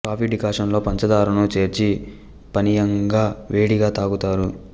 coffee decoction లో పంచధారను చేర్చి పానీయంగా వేడిగా త్రాగుతారు